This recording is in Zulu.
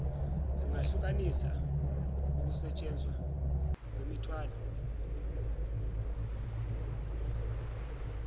singahlukanisa ukusentshenzwa kwemithwalo